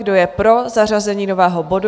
Kdo je pro zařazení nového bodu?